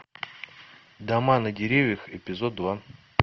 дома на деревьях эпизод два